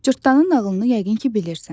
Cırtdanın nağılını yəqin ki, bilirsən.